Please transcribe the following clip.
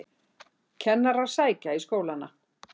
Kennarar sækja í skólana